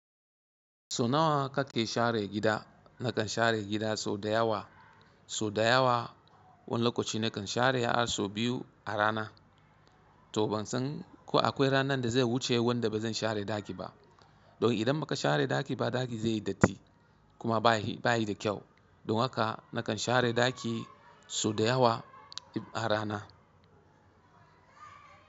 So nawa kake share gida? Nakan share gida sau da yawa. Sau da yawa, wani lokaci nakan share har sau biyu a rana. To ban san ko akwai ranar da zai wuce wanda bazan share ɗaki ba. Don idan baka share ɗaki ba, ɗaki zai yi datti, kuma bayi da kyau. Don haka nakan share ɗaki sau da yawa a rana.